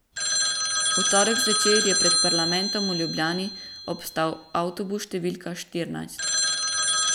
V torek zvečer je pred parlamentom v Ljubljani obstal avtobus številka štirinajst.